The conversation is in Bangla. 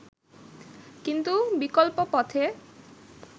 কিন্তু বিকল্প পথে